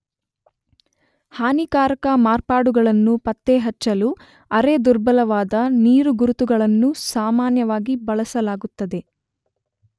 ಹಾನಿಕಾರಕ ಮಾರ್ಪಾಡುಗಳನ್ನು ಪತ್ತೆಹಚ್ಚಲು ಅರೆ-ದುರ್ಬಲವಾದ ನೀರುಗುರುತುಗಳನ್ನು ಸಾಮಾನ್ಯವಾಗಿ ಬಳಸಲಾಗುತ್ತದೆ.